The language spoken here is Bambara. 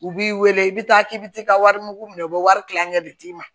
U b'i wele i bɛ taa k'i bɛ t'i ka wari mugu minɛ u bɛ wari kilancɛ de d'i ma